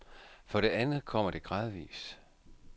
For det andet kommer det gradvis.